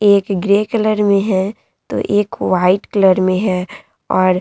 एक grey colour में है तो एक व्हाइट कलर में है और --